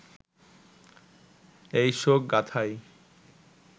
এই শোক গাঁথাই